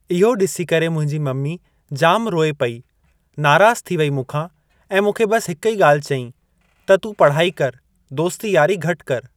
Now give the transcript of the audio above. इहो ॾिसी करे मुंहिंजी मम्मी जाम रोई पेई नाराज़ु थी वेई मूंखा ऐं मूंखे बस हिकु ही ॻाल्हि चई कि तूं पढ़ाई कर दोस्ती यारी घटि कर ।